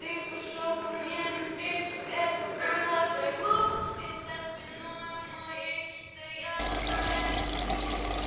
ты пошёл ко мне навстречу это было так глупо ведь за спиною моей стояла твоя подруга